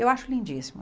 Eu acho lindíssimo.